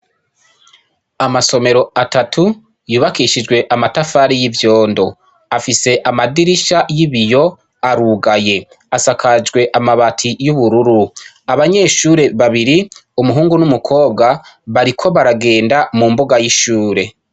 Amasomero atatu yubakishijwe amatafari y'ivyondo afise amadirisha y'ibiyo arugaye asakajwe amabati y'ubururu abanyeshure babiri umuhungu n'umukobwa bariko baragenda mu mbuga y'ishure.